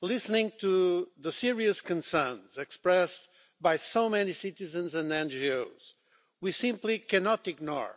Listening to the serious concerns expressed by so many citizens and NGOs, we simply cannot ignore